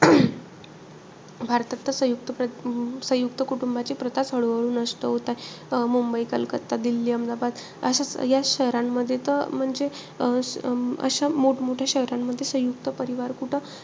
भारतात तर सयुंक्त सयुंक्त कुटुंबाची प्रथाच हळू-हळू नष्ट होत आहे. मुंबई, कलकत्ता, दिल्ली, अहमदाबाद. असं या शहरांमध्ये त म्हणजे अं अशा मोठ-मोठ्या शहरांमध्ये सयुंक्त परिवार कुठं,